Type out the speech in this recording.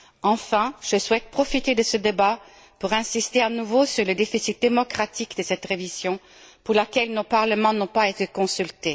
Enfin, je souhaite profiter de ce débat pour insister à nouveau sur le déficit démocratique de cette révision, pour laquelle nos parlements n'ont pas été consultés.